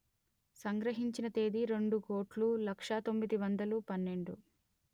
సంగ్రహించిన తేదీ రెండు కోటులు లక్ష తొమ్మిది వందలు పన్నెండు